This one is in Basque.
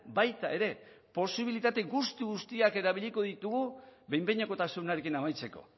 baita ere posibilitate guztiak erabiliko ditugu behin behinekotasunarekin amaitzeko